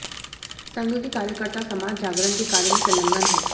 संघ के कार्यकर्ता समाज जागरण के कार्य में संलग्न हैं